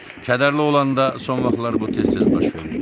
Kədərli olanda son vaxtlar bu tez-tez baş verirdi.